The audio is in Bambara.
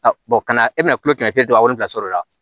kana e bɛna kulonkɛ kɛmɛ kilen to a wolola sɔr'o la